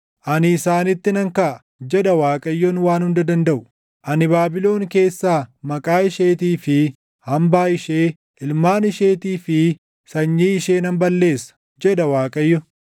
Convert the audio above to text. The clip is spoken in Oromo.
“Ani isaanitti nan kaʼa,” jedha Waaqayyoon Waan Hunda Dandaʼu. “Ani Baabilon keessaa maqaa isheetii fi hambaa ishee, ilmaan isheetii fi sanyii ishee nan balleessa” jedha Waaqayyo.